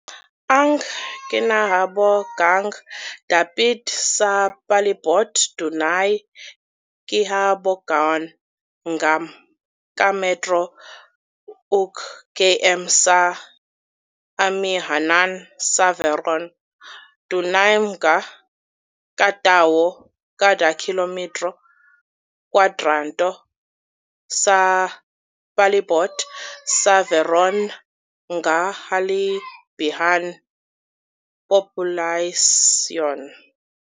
Ang kinahabogang dapit sa palibot dunay gihabogon nga ka metro ug km sa amihanan sa Verona. Dunay mga ka tawo kada kilometro kwadrado sa palibot sa Verona nga hilabihan populasyon.